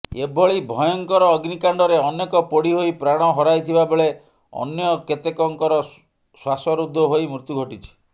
ଏଭଳି ଭୟଙ୍କର ଅଗ୍ନିକାଣ୍ଡରେ ଅନେକ ପୋଡି ହୋଇ ପ୍ରାଣ ହରାଇଥିବାବେଳେ ଅନ୍ୟ କେତେକଙ୍କର ଶ୍ୱାସରୁଦ୍ଧ ହୋଇ ମୃତ୍ୟୁ ଘଟିଛି